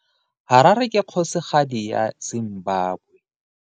Harare ke kgosigadi ya Zimbabwe.